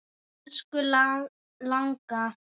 Elsku langa.